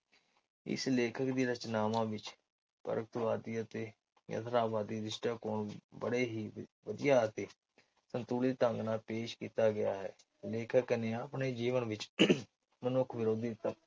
ਇਸ ਲੇਖਕ ਦੀ ਰਚਨਾਵਾਂ ਵਿੱਚ ਤਰਸਵਾਦੀ ਅਤੇ ਰਿਸ਼ਤਿਆਂ ਬੜ੍ਹੇ ਹੀ ਵਧੀਆ ਅਤੇ ਸੰਤੁਲਿਨ ਢੰਗ ਨਾਲ ਪੇਸ਼ ਕੀਤਾ ਗਿਆ ਹੈ। ਲੇਖਕ ਨੇ ਆਪਣੇ ਜੀਵਨ ਵਿਚ ਮਨੁੱਖ ਵਿਰੋਧੀ